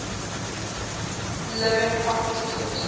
living prophets accepted